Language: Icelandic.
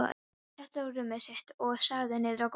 Benni settist á rúmið sitt og starði niður á gólfið.